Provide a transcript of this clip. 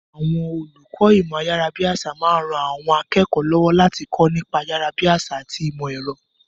Àwọn olùkọ́ ìmọ̀ ayárabíàṣá máa ń ran àwọn akẹ́kọ̀ọ́ lọ́wọ́ láti kọ́ nípa ayárabíàṣá àti ìmọ̀ ẹ̀rọ.